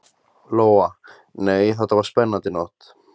Lóa: Nei, þetta var spennandi nótt?